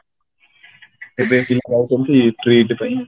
ଏବେ ପିଲା ମାଗୁଛନ୍ତି treat ପାଇଁ